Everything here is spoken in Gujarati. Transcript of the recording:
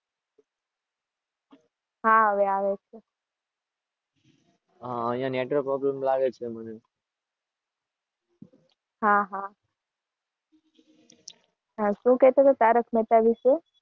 હા, હવે આવે છે.